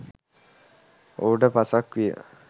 ඔහුට පසක් විය